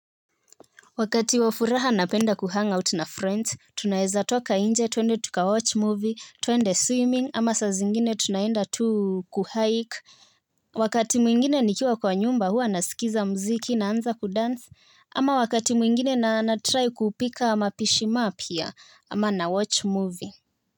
Wakati wa furaha napenda kuhangout na friends tunaeza toka inje tuende tuka watch movie tuende swimming ama saa zingine tunaenda tu kuhike. Wakati mwingine nikiwa kwa nyumba huwa nasikiza mziki naanza kudansi ama wakati mwingine na natry kupika mapishi mapya ama nawatch movie.